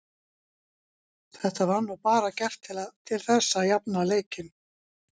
Þetta var nú bara gert til þess að jafna leikinn.